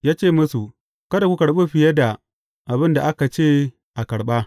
Ya ce musu, Kada ku karɓa fiye da abin da aka ce a karɓa.